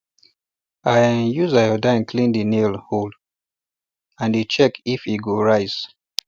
i um use iodine clean the nail um hole and dey check if e go um rise